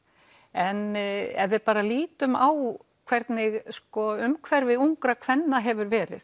en ef við lítum bara á hvernig umhverfi ungra kvenna hefur verið